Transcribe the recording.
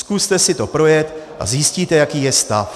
Zkuste si to projet a zjistíte, jaký je stav.